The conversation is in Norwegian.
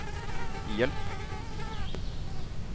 hjelp